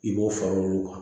I b'o fara olu kan